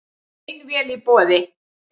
Ein vél í boði